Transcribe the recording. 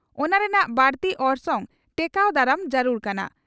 ᱚᱱᱟ ᱨᱮᱱᱟᱜ ᱵᱟᱹᱲᱤᱡ ᱚᱨᱥᱚᱝ ᱴᱮᱠᱟᱣ ᱫᱟᱨᱟᱢ ᱡᱟᱹᱨᱩᱲ ᱠᱟᱱᱟ ᱾